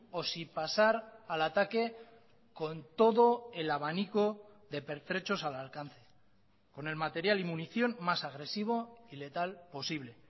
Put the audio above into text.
o si pasar al ataque con todo el abanico de pertrechos al alcance con el material y munición más agresivo y letal posible